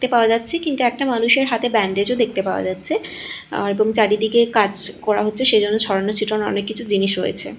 দেখতে পাওয়া যাচ্ছে কিন্তু একটা মানুষের হাতে ব্যান্ডেজও -ও দেখতে পাওয়া যাচ্ছে আর এবং চারিদিকে কাজ করা হচ্ছে সেইজন্য ছড়ানো ছিটানো অনেক কিছু জিনিস রয়েছে।